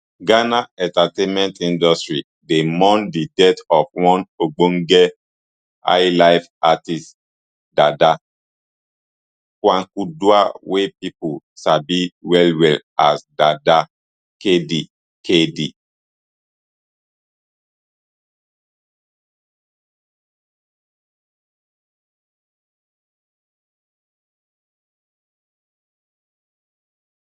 ghana entertainment industry dey mourn di death of one ogbonge highlife artiste dada kwaku duah wey pipo sabi wellwell as dada kd kd